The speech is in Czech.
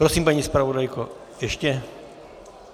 Prosím, paní zpravodajko, ještě?